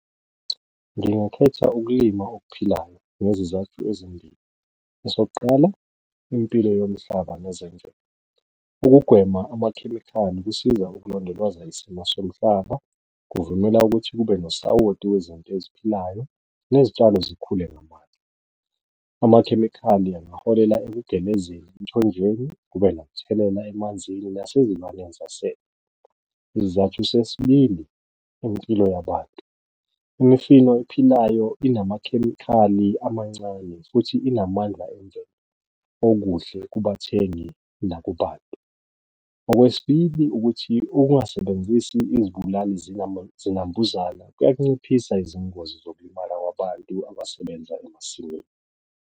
Ngingakhetha ukulima okuphilayo ngezizathu ezimbili, esokuqala impilo yomhlaba nezemvelo, ukugwema amakhemikhali kusiza ukulondoloza isimo somhlaba, kuvumela ukuthi kube nosawoti wezinto eziphilayo nezitshalo zikhule ngamandla. Amakhemikhali angaholela ukugelezeni emthonjeni kube nomthelela emanzini nasezilwaneni zasedle. Isizathu sesibili impilo yabantu, imifino ephilayo enamakhemikhali amancane futhi inamandla okuhle kubathengi nakubantu, okwesibili ukuthi ukungasebenzisi izibulali zinambuzana kuyanciphisa izingozi zokulimala kwabantu abasebenza emasimini.